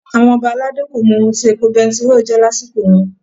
Àwọn Ọba aládé kò mọ ohun tí epo bẹntiróò jẹ́ lásìkò wọn.